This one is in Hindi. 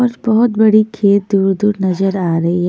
बस बहोत बड़ी खेत दूर दूर नज़र आ रही है।